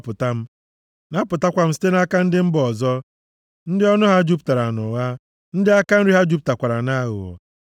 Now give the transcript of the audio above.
gbapụta m; napụtakwa m site nʼaka ndị si mba ọzọ ndị ọnụ ha jupụtara nʼụgha, ndị aka nri ha jupụtakwara nʼaghụghọ.